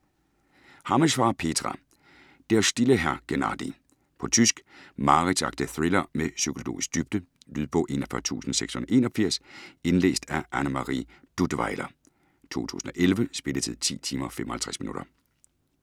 Hammesfahr, Petra: Der stille Herr Genardy På tysk. Mareridtsagtig thriller med psykologisk dybde. Lydbog 41681 Indlæst af Annemarie Duttweiler, 2011. Spilletid: 10 timer, 55 minutter.